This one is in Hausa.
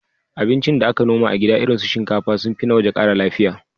Abincin da aka noma a gida irin su shinkafa sun fi na waje ƙara lafiya.